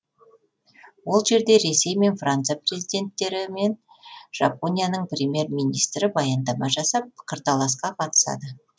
ол жерде ресей мен франция президенттерімен жапонияның премьер министрі баяндама жасап пікірталасқа қатысады